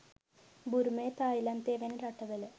බුරුමය, තායිලන්තය වැනි රටවල